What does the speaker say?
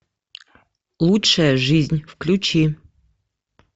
лучшая жизнь включи